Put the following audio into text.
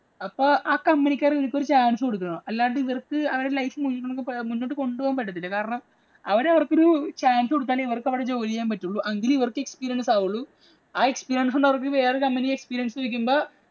അപ്പൊ ആ company ഇക്കാര് ഇവര്‍ക്ക് ഒരു chance കൊടുക്കണം. അല്ലാതെ ഇവര്‍ക്ക് life മുന്നോട്ട് കൊണ്ടുപോകാന്‍ പറ്റത്തില്ല. കാരണം അവര് അവര്‍ക്കൊരു chance കൊടുത്താലെ ഇവര്ക്ക് അവിടെ ജോലി ചെയ്യാന്‍ പറ്റൂള്ളൂ. എങ്കിലേ ഇവര്‍ക്ക് experience ആവുള്ളൂ.